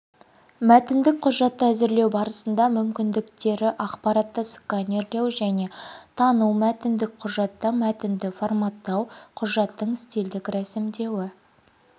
мәтіндік құжатты әзірлеу барысында мүмкіндіктері ақпаратты сканерлеу және тану мәтіндік құжатта мәтінді форматтау құжаттың стильдік рәсімдеуі